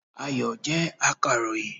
Ayọ̀ jẹ́ akàròyìn